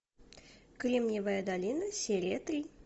кремниевая долина серия три